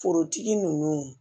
Forotigi ninnu